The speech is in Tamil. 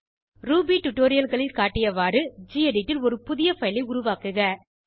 ரூபி டுடோரியல்களில் காட்டியவாறு கெடிட் ல் ஒரு புதிய பைல் ஐ உருவாக்குக